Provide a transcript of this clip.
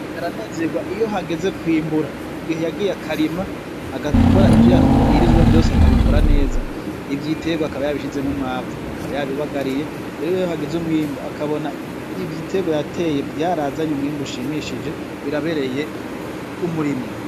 Umurimyi aranezerwa iyo hageze kwimbura, mu gihe yagiye akarima, agakora ivyo yabwirizwa vyose akabikora neza, ibiterwa akaba yabishizemwo umwavu akaba yabibagariye, rero iyo hageze umwimbu akabona ibiterwa yateye vyarazanye umwimbu ushimishije birabereye umurimyi.